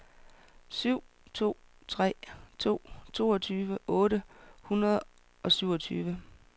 syv to tre to toogtyve otte hundrede og syvogtyve